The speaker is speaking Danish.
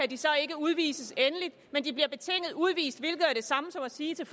de så ikke udvises endeligt men de bliver betinget udvist hvilket jo er det samme som at sige til